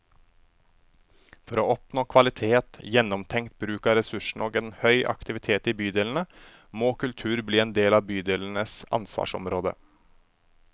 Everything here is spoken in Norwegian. For å oppnå kvalitet, gjennomtenkt bruk av ressursene og en høy aktivitet i bydelene, må kultur bli en del av bydelenes ansvarsområde.